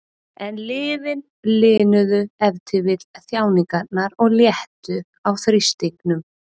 En lyfin linuðu ef til vill þjáningarnar og léttu á þrýstingnum.